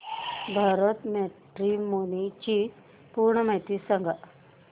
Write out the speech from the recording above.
Bharat matrimony ची पूर्ण माहिती सांगा